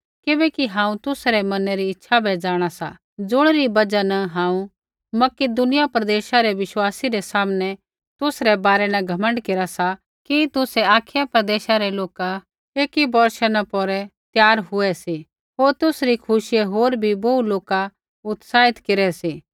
किबैकि हांऊँ तुसै रै मनै री इच्छा बै जाँणा सा ज़ुणिरी बजहा न हांऊँ मकिदुनिया प्रदेशा रै विश्वासी रै सामनै तुसरै बारै न घमण्ड सा कि तुसै अखाया प्रदेशा रै लोका ऐकी बौर्षा न पौरे त्यार हुऐ सी होर तुसरी खुशियै होर भी बोहू लोका उत्साहित केरै सी